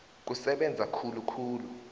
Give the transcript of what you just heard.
kusebenza khulu khulu